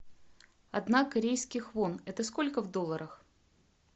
одна корейских вон это сколько в долларах